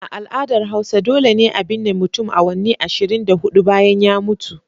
A al'adar hausa dole ne a binne mutum awanni ashirin da hudu bayan ya mutu.